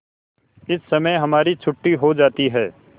इस समय हमारी छुट्टी हो जाती है